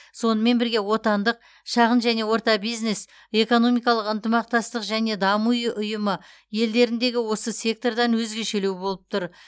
сонымен бірге отандық шағын және орта бизнес экономикалық ынтымақтастық және даму ұйы ұйымы елдеріндегі осы сектордан өзгешелеу болып тұр